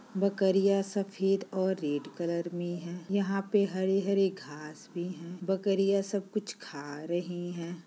बकरिया सफेद और रेड कलर में है यहां पे हरे-हरे घास भी हैं बकरिया सब कुछ खा रहे है।